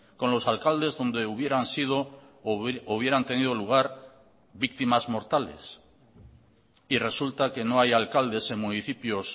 con los alcaldes donde hubieran sido o hubieran tenido lugar víctimas mortales y resulta que no hay alcaldes en municipios